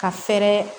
Ka fɛɛrɛ